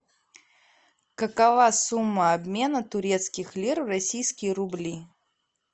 какова сумма обмена турецких лир в российские рубли